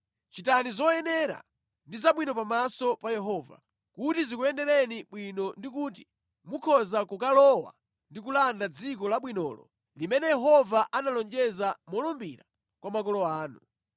Chitani zoyenera ndi zabwino pamaso pa Yehova, kuti zikuyendereni bwino ndi kuti mukhoza kukalowa ndi kulanda dziko labwinolo limene Yehova analonjeza molumbira kwa makolo anu,